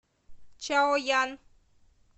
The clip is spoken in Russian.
чаоян